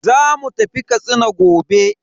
Zamu tafi Katsina gobe.